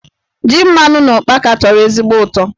Ji mmanụ na ụkpaka tọrọ ezigbo utọ.